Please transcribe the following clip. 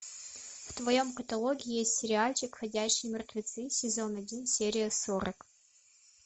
в твоем каталоге есть сериальчик ходячие мертвецы сезон один серия сорок